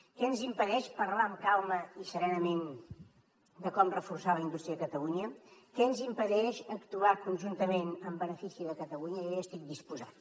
què ens impedeix parlar amb calma i serenament de com reforçar la indústria a catalunya què ens impedeix actuar conjuntament en benefici de catalunya jo hi estic disposat